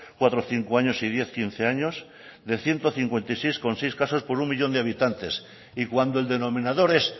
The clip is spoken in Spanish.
cuatro cinco años y diez quince años de ciento cincuenta y seis coma seis casos por uno millón de habitante y cuando el denominador es